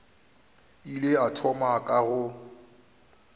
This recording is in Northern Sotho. ile a thoma ka go